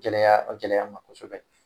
Gɛlɛya gɛlɛya ma kosɛbɛ .